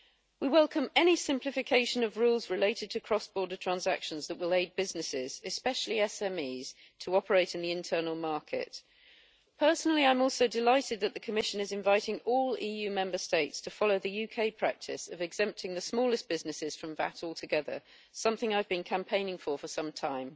We welcome any simplification of rules related to cross-border transactions that will aid businesses, especially SMEs, to operate in the internal market. Personally, I am also delighted that the Commission is inviting all EU Member States to follow the UK practice of exempting the smallest businesses from VAT altogether, something I have been campaigning for for some time.